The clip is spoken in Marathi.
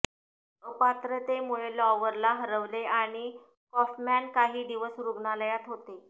अपात्रतेमुळे लॉवरला हरवले आणि कॉफमॅन काही दिवस रुग्णालयात होते